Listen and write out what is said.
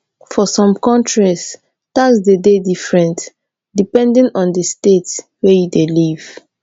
for some countries tax de dey different depending on di state wey you dey live